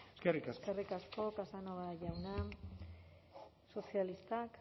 eskerrik asko eskerrik asko casanova jauna sozialistak